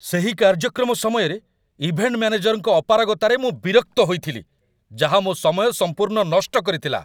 ସେହି କାର୍ଯ୍ୟକ୍ରମ ସମୟରେ, ଇଭେଣ୍ଟ ମ୍ୟାନେଜରଙ୍କ ଅପାରଗତାରେ ମୁଁ ବିରକ୍ତ ହୋଇଥିଲି, ଯାହା ମୋ ସମୟ ସମ୍ପୂର୍ଣ୍ଣ ନଷ୍ଟ କରିଥିଲା।